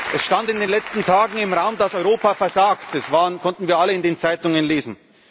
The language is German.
herkommt. Es stand in den letzten Tagen im Raum, dass Europa versagt, das konnten wir alle in den Zeitungen